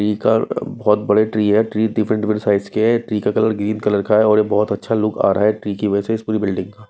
पीकर बहोत बड़े ट्री है ट्री डिफरेंट डिफरेंट साइज के हैं ट्री का कलर ग्रीन कलर का है और ये बहोत अच्छा लुक आ रहा है ट्री की वजह से इस पूरी बिल्डिंग का।